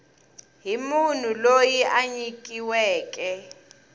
hi munhu loyi a nyikiweke